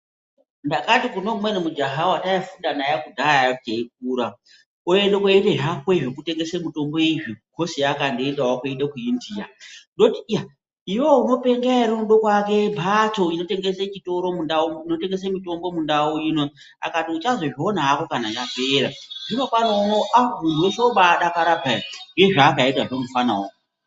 Ndakati kune umweni mujaha wataifunda naye kudhaya teyikura oende kooite zvakwe zvekutengese mitobo izvi ngekhosi yeakandoendawo kooite ku India ndoiti iya iwewe unopenga ere kuake mphatso inotengese chitoro mundau inoinotengese mitombo mundau ino akati uchazozviona ako kana ndapera. Zvino pano uno aa munthu weshe wombaadakara peya ngezvaakaitazvo mufanawo.